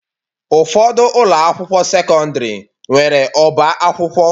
Ụfọdụ ụlọ akwụkwọ sekọndrị nwere ọbá akwụkwọ.